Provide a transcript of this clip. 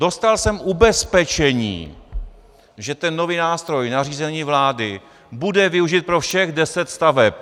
Dostal jsem ubezpečení, že ten nový nástroj, nařízení vlády, bude využit pro všech deset staveb.